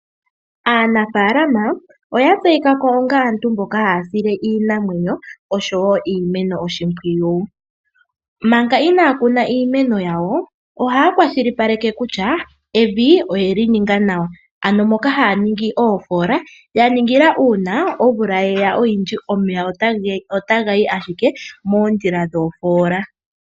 Aanafalama oya tseyika ko onga aantu mboka haya sile iinamwenyo osho wo iimeno oshimpwiyu. Manga inaaya kuna iimeno yawo ohaya kwashilipaleke kutya evi oyeli ninga nawa, ano moka haya ningi oofola ya ningila uuna omvula yeya oyindji, omeya otaga yi ashike moondjila dhoofola.